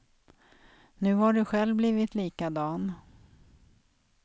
Nu har du själv blivit likadan.